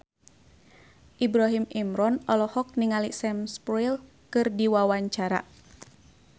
Ibrahim Imran olohok ningali Sam Spruell keur diwawancara